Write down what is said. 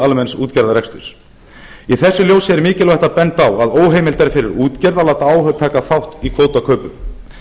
almenns útgerðarreksturs í þessu ljósi er mikilvægt að benda á að óheimilt er fyrir útgerð að láta áhöfn taka þátt í kvótakaupum